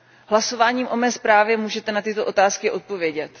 Hlasováním o mé zprávě můžete na tyto otázky odpovědět.